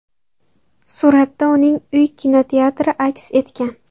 Suratda uning uy kinoteatri aks etgan.